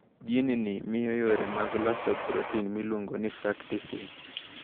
Jin ni miyo yore mag loso protin miluongo ni frataksin.